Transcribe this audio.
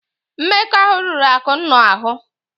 Mmekọahụ riri Akụnna ahụ.